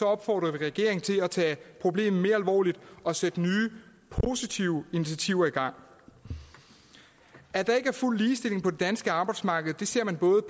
opfordrer vi regeringen til at tage problemet mere alvorligt og sætte nye positive initiativer i gang at der ikke er fuld ligestilling på det danske arbejdsmarked ser man både